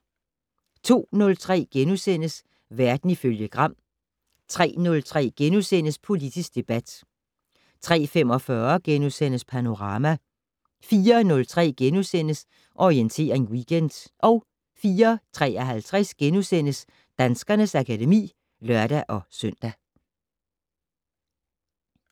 02:03: Verden ifølge Gram * 03:03: Politisk debat * 03:45: Panorama * 04:03: Orientering Weekend * 04:53: Danskernes akademi *(lør-søn)